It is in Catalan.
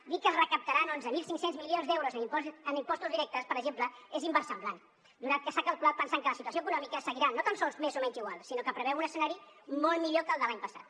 dir que es recaptaran onze mil cinc cents milions d’euros en impostos directes per exemple és inversemblant donat que s’ha calculat pensant que la situació econòmica seguirà no tan sols més o menys igual sinó que preveu un escenari molt millor que el de l’any passat